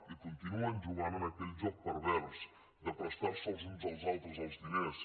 i continuen jugant a aquell joc pervers de prestar se els uns als altres els diners